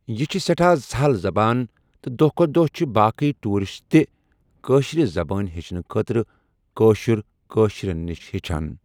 یہِ چھِ سٮ۪ٹھاہ سَہَل زَبان تہٕ دۄہ کھۄتہ دۄہ چھِ باقٕے ٹوٗرِسٹ تہِ کٲشِر زَبان ہٮ۪ٚچھنہٕ خٲطرٕ کٲشِر کٲشرٮ۪ن نِش ہٮ۪چھان۔